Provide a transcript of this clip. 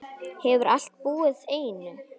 Hefurðu alltaf búið einn?